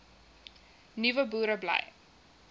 nuwe boere bly